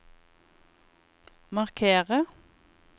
markere